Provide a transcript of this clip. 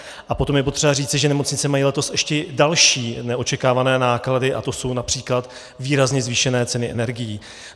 A potom je potřeba říci, že nemocnice mají letos ještě další neočekávané náklady, a to jsou například výrazně zvýšené ceny energií.